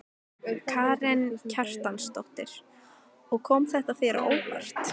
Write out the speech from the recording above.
Karen Kjartansdóttir: Og kom þetta þér á óvart?